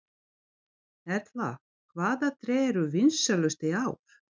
Erla, hvaða tré eru vinsælust í ár?